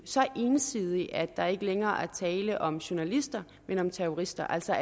så ensidig at der ikke længere er tale om journalister men om terrorister altså